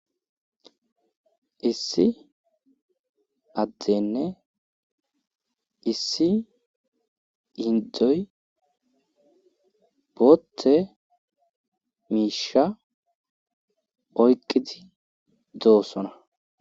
issi addenne issi indoy bootte miisha oyqqidi doossona